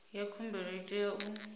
ya khumbelo i tea u